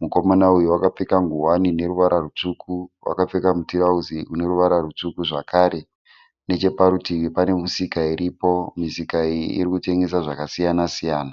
Mukomana uyu wakapfeka nguwani ine ruvara rutsvuku wakapfeka mutirauzi une ruvara rutsvuku zvakare. Necheparutivi pane misika iripo. Misika iyi iri kutengesa zvakasiyana-siyana.